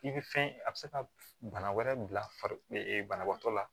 I bɛ fɛn a bɛ se ka bana wɛrɛ bila farikolo banabaatɔ la